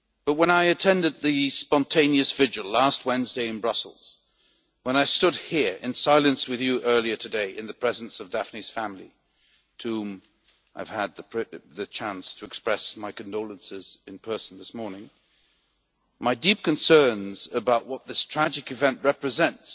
When I attended the spontaneous vigil last Wednesday in Brussels, when I stood here in silence with you earlier today in the presence of Daphne's family, to whom I have had the chance to express my condolences in person this morning, my deep concerns about what this tragic event represents